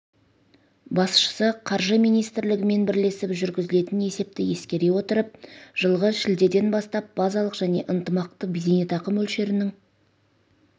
басшысы қаржы министрлігімен бірлесіп жүргізілген есепті ескере отырып жылғы шілдеден бастап базалық және ынтымақты зейнетақы мөлшерінің